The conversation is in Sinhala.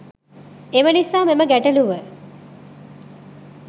එම නිසා මෙම ගැටළුව